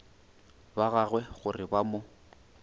ba gagwe gore ba mo